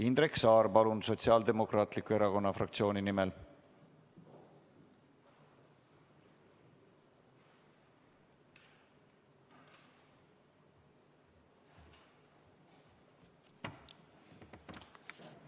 Indrek Saar, palun, Sotsiaaldemokraatliku Erakonna fraktsiooni nimel!